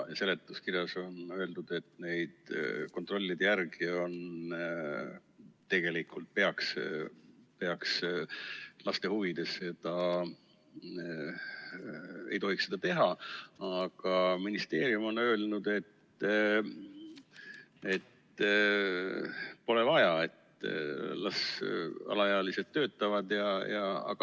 Seletuskirjas on öeldud, et laste huvides ei tohiks seda teha, aga ministeerium on öelnud, et pole vaja, las alaealised töötavad.